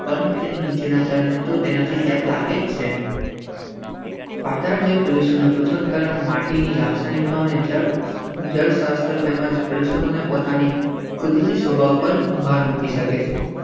પરંતુ તેની નીચેના તને તો તેનાથી ચેપ લાગે છે. કરણ માટેની લાખની સામે જ જળશાસ્ત્ર તેમજ પ્રેક્ષકોને પોતાની કુદરતી સ્વભાવ પર ભાર મુકી શકે છે.